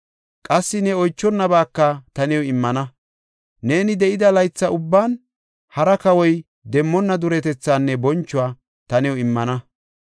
Qassi ne oychonabaaka ta new immana; neeni de7ida laytha ubban hara kawoy demmonna duretethaanne bonchuwa ta new immana.